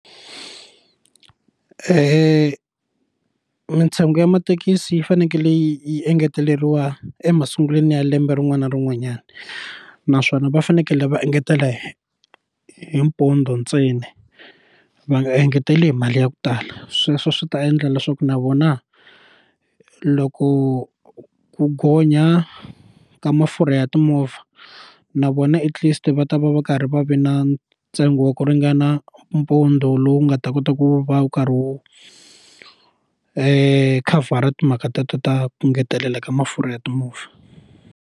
mintsengo ya mathekisi yi fanekele yi engeteleriwa emasungulweni ya lembe rin'wana na rin'wanyana naswona va fanekele va engetela hi pondo ntsena va nga engeteli hi mali ya ku tala sweswo swi ta endla leswaku na vona loko ku gonya ka mafurha ya timovha na vona at least va ta va va karhi va vi na ntsengo wa ku ringana mpundzu lowu nga ta kota ku va wu karhi wu khavhara timhaka teto ta ku ngetelela ka mafurha ya timovha.